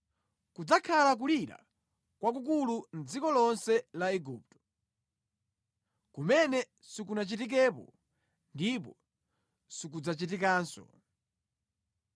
Kudzakhala kulira kwakukulu mʼdziko lonse la Igupto, kumene sikunachitikepo ndipo sikudzachitikanso.